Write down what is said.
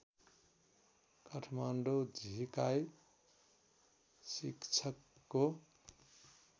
काठमाडौँ झिकाई शिक्षकको